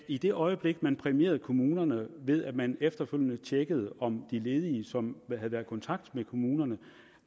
i det øjeblik man præmierede kommunerne ved at man efterfølgende tjekkede om de ledige som havde været i kontakt med kommunerne